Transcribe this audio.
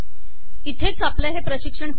इथेच आपले हे प्रशिक्षण संपत आहे